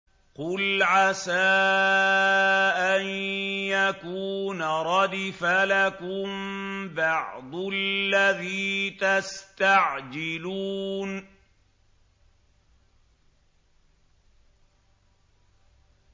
قُلْ عَسَىٰ أَن يَكُونَ رَدِفَ لَكُم بَعْضُ الَّذِي تَسْتَعْجِلُونَ